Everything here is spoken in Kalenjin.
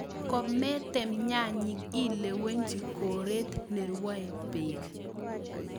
Kometem nyanyik ilewenji koret nerwoe beek.